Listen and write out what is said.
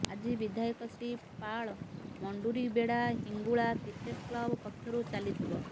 ଆଜି ବିଧାୟକ Shri Pal Munduribeda Hingula cricket club ପକ୍ଷରୁ ଚାଲିଥିବ